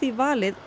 valið